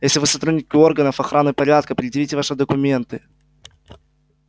если вы сотрудники органов охраны порядка предъявите ваши документы